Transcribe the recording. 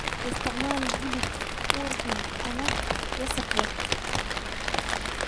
Ha isticmaalin hilib ur xun ama wasakh leh.